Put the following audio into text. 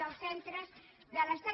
dels centres de l’estat